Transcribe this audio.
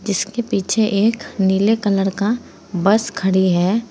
जिसके पीछे एक नीले कलर का बस खड़ी है।